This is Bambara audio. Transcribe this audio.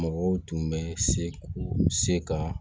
Mɔgɔw tun bɛ se k'u se ka